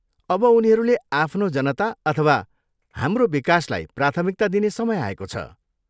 अब उनीहरूले आफ्नो जनता अथवा हाम्रो विकासलाई प्राथमिकता दिने समय आएको छ।